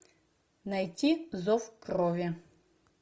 найти зов крови